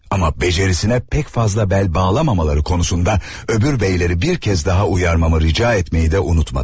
Amma bacarığına pek fazla bel bağlamamaları konusunda öbür beyləri bir kez daha uyarmamı rica etməyi də unutmadı.